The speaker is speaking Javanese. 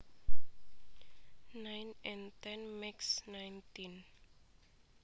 Nine and ten makes nineteen